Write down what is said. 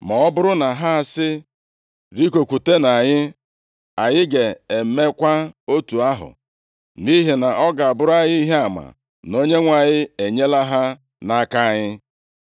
Ma ọ bụrụ na ha sị, ‘Rigokwutenụ anyị,’ anyị ga-emekwa otu ahụ, nʼihi na ọ ga-abụrụ anyị ihe ama na Onyenwe anyị enyela ha nʼaka anyị.”